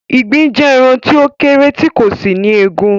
Ìgbín jẹ́ ẹran tí ó kéré tì kò sì ní egun